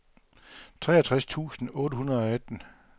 treogtres tusind otte hundrede og atten